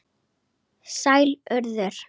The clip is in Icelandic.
Sæl, Urður.